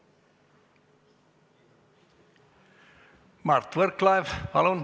Mart Võrklaev, palun!